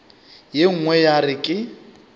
ye nngwe ya re ke